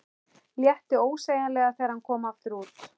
Létti ósegjanlega þegar hann kom aftur út.